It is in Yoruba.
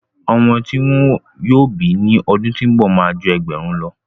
ọmọ ti wọn yóò bí ní ọdún tó ń bọ̀ má a ju ẹgbẹ̀rún lọ.